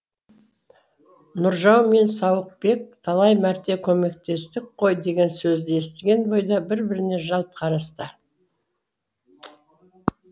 нұржау мен сауықбек талай мәрте көмектестік қой деген сөзді естіген бойда бір біріне жалт қарасты